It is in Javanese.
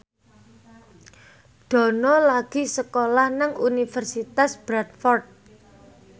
Dono lagi sekolah nang Universitas Bradford